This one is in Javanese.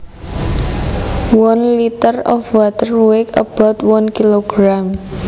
One litre of water weighs about one kilogram